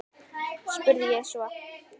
spurði ég svo.